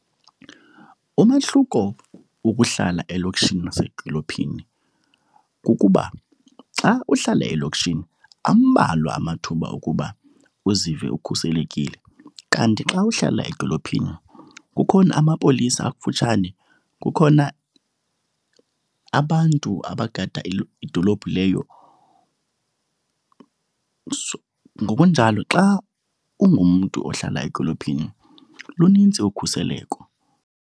Umahluko wokuhlala elokishini nasedolophini kukuba xa uhlala elokishini ambalwa amathuba okuba uzive ukhuselekile. Kanti xa uhlala edolophini kukhona amapolisa akufutshane, kukhona abantu abagada idolophu leyo. Ngokunjalo xa ungumntu ohlala edolophini lunintsi okhuseleko.